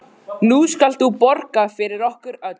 Nú skalt þú borga fyrir okkur öll.